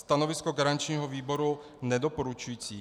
Stanovisko garančního výboru nedoporučující.